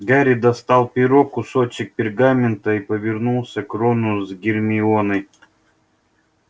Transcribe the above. гарри достал перо кусочек пергамента и повернулся к рону с гермионой